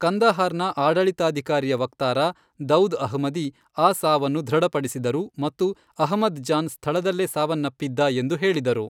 ಕಂದಹಾರ್ನ ಆಡಳಿತಾಧಿಕಾರಿಯ ವಕ್ತಾರ, ದೌದ್ ಅಹ್ಮದಿ, ಆ ಸಾವನ್ನು ದೃಢಪಡಿಸಿದರು ಮತ್ತು ಅಹ್ಮದ್ ಜಾನ್ ಸ್ಥಳದಲ್ಲೇ ಸಾವನ್ನಪ್ಪಿದ್ದ ಎಂದು ಹೇಳಿದರು.